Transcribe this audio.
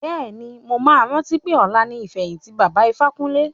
Bẹ́ẹ̀ni, mo máa rántí pé ọ̀la ni ìfẹ̀yìntì baba Ifákúnle.